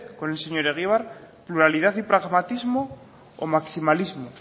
con el señor egibar pluralidad y pragmatismo o maximalismo